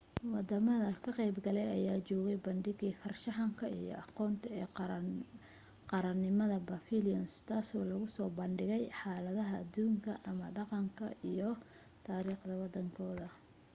wadamada ka qayb galaya ayaa joogay bandhigii farshaxanka iyo aqoonta ee qaranimada pavilions tasoo lagusoo bandhigayay xaaladaha aduunka ama dhaqanka iyo raariikhda wadankooda